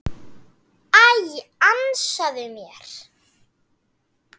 Æ, ansaðu mér.